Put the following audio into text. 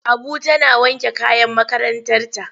Abu tana wanke kayan makarantarta.